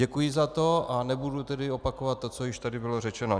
Děkuji za to, a nebudu tedy opakovat to, co již tady bylo řečeno.